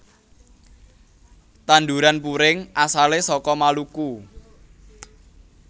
Tanduran puring asale saka Maluku